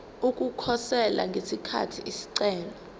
ukukhosela ngesikhathi isicelo